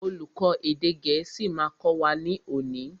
Olùkó èdè gẹ̀ẹ́sì ma kọ́ wa ní òní.